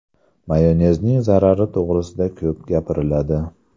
Mayonezning zarari to‘g‘risida ko‘p gapiriladi.